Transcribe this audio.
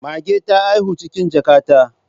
Mage ta haihu cikin jaka ta